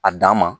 A dan ma